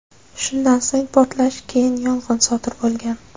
Shundan so‘ng portlash, keyin yong‘in sodir bo‘lgan.